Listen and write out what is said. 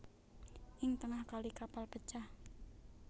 Ing tengah kali kapal pecah